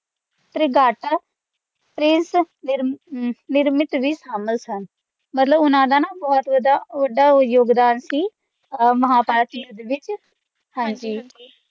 ਤ੍ਰਿਗਾਟਾ ਤ੍ਰਿਸ ਨਿਰਮਿਤ ਵੀ ਸ਼ਾਮਲ ਸਨ ਮਤਲਬ ਉਨ੍ਹਾਂ ਦਾ ਬਹੁਤ ਵੱਢਾ ਯੋਗਦਾਨ ਸੀ ਮਹਾਭਾਰਤ ਦੇ ਵਿੱਚ ਜੀ ਹਾਂ